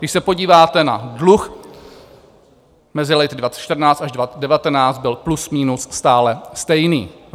Když se podíváte na dluh mezi léty 2014 až 2019, byl plus minus stále stejný.